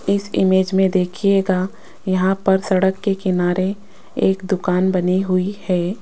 इस इमेज में देखिएगा यहां पर सड़क के किनारे एक दुकान बनी हुई है।